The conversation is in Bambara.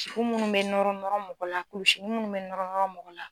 minnu bɛ nɔrɔ nɔrɔ mɔgɔ la kulusinin minnu mɛ nɔrɔ nɔrɔ mɔgɔ la.